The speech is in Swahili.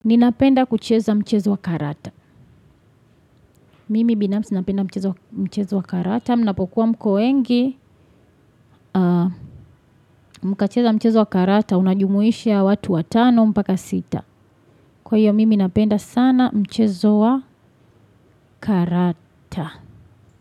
Ninapenda kucheza mchezo wakarata. Mimi binamsi napenda mchezo wakarata. Mnapokuwa mko wengi mkacheza mchezo wakarata. Unajumuishi watu watano mpaka sita. Kwa hiyo mimi napenda sana mchezo wakarata.